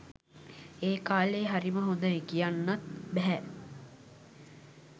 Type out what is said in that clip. ඒ කාලේ හරිම හොඳයි කියන්නත් බැහැ.